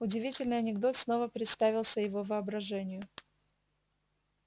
удивительный анекдот снова представился его воображению